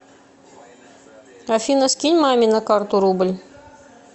афина скинь маме на карту рубль